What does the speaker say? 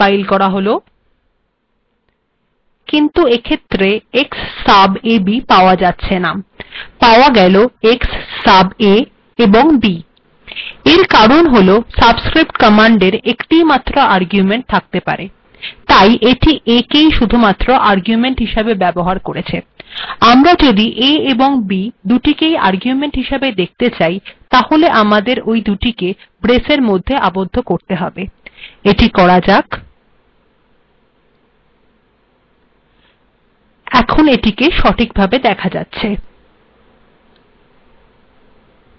তাই কমান্ড িট শুধুমাত্র aেকই আর্গুেমন্ট িহসােব ব্যবহার কেরেছ যিদ আমরা a এবং b েক একসােথ আর্গুেমন্ট িহসােব েদেখত চাই তাহেল আমােদর ওই দুিটেক ব্েরস্ বা বন্ধনীর মেধ্য আবদ্ধ করেত হেব উদাহরণস্বরূপ a এবং b েক ব্েরসএর মেধ্য রাখা হল এখন এিট সিঠকভােব েদখা যাচ্েছ